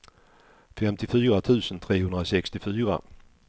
femtiofyra tusen trehundrasextiofyra